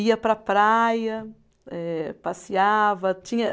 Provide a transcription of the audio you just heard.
Ia para a praia, eh passeava. Tinha